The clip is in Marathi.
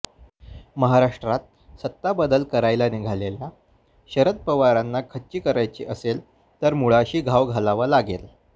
महाराष्ट्रात सत्ता बदल करायला निघालेल्या शरद पवारांना खच्ची करायचे असेल तर मुळाशी घाव घालावा लागेल